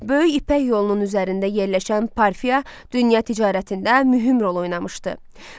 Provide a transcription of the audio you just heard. Böyük İpək yolunun üzərində yerləşən Parfiya dünya ticarətində mühüm rol oynamışdı.